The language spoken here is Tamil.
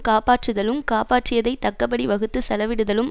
காப்பாற்றுதலும் காப்பாற்றியதைத் தக்கபடி வகுத்துச் செலவிடுதலும்